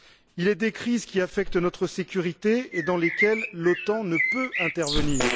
Il est des crises qui affectent notre sécurité et dans lesquelles l'OTAN ne peut intervenir